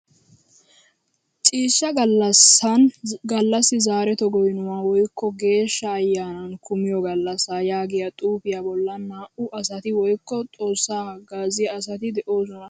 Ciishshaa gallasan gallasi zareto goynuwa woykko geeshsha ayanan kumiyo gallasa yaagiyaa xuufiyaa bollan naa"u asati woykko Xoossaa hagaaziya asati de'oosona.